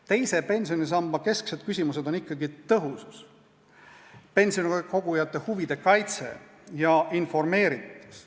Teise pensionisamba kesksed küsimused on ikkagi tõhusus, pensionikogujate huvide kaitstus ja informeeritus.